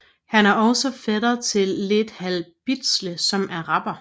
Han er også fætter til Lethal Bizzle som er rapper